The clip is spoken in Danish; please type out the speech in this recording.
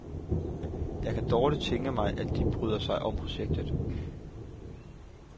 Jeg kan dårligt tænke mig, at de bryder sig om projektet.